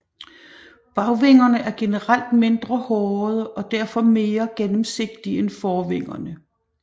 Bagvingerne er generelt mindre hårede og derfor mere gennemsigtige end forvingerne